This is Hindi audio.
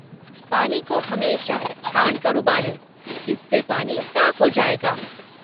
पानी को हमेशा छानकर उबालें, इससे पानी साफ़ हो जाएगा।